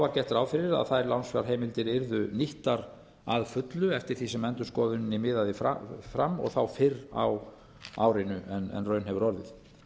var gert ráð fyrir að þær lánsfjárheimildir yrðu nýttar að fullu eftir því sem endurskoðuninni miðaði fram og þá fyrr á árinu en raun hefur orðið